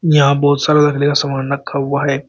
यहां बहुत सारा लकड़ी का सामान रखा हुआ है।